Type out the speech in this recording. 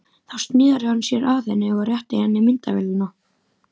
Þá sneri hann sér að henni og rétti henni myndavélina.